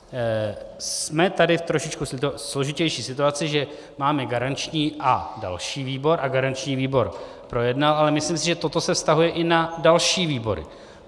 Jsme tady v trošičku složitější situaci, že máme garanční a další výbor, a garanční výbor projednal, ale myslím si, že toto se vztahuje i na další výbory.